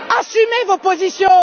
Assumez vos positions!